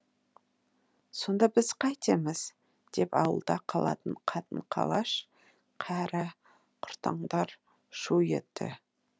сонда біз қайтеміз деп ауылда қалатын қатын қалаш кәрі құртаңдар шу етті